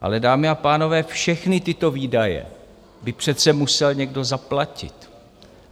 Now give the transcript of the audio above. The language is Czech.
Ale dámy a pánové, všechny tyto výdaje by přece musel někdo zaplatit.